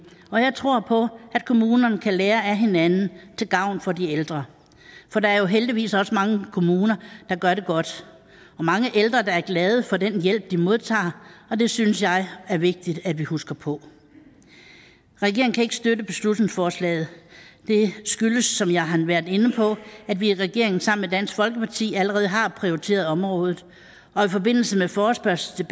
og jeg tror på at kommunerne kan lære af hinanden til gavn for de ældre for der er jo heldigvis også mange kommuner der gør det godt og mange ældre der er glade for den hjælp de modtager det synes jeg er vigtigt at vi husker på regeringen kan ikke støtte beslutningsforslaget det skyldes som jeg har været inde på at vi i regeringen sammen med dansk folkeparti allerede har prioriteret området og i forbindelse med forespørgslen